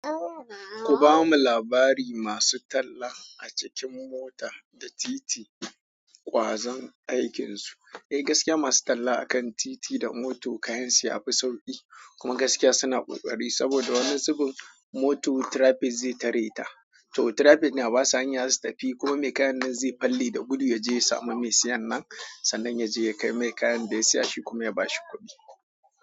Ku ba mu labari masu talla a cikin mota da titi, kwazon aikinsu. Eh, gaskiya masu talla a kan titi da moto kayansu ya fi sauƙi, kuma gaskiya sina ƙoƙari saboda wani zubin moto trapin ze tare ta. To, trafik ne ba su hanya s'su tafi, kuma me kayanne ze falle da gudu ya je ya samu me siyan nan, sannan ya je ya kai mai kayan da ya siya shi kuma ya bashi kuɗi.